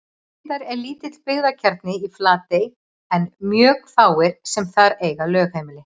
Reyndar er lítill byggðakjarni í Flatey en mjög fáir sem þar eiga lögheimili.